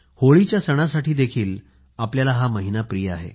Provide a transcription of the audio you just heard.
होळीच्या सणासाठी आपल्याला हा महिना प्रिय आहे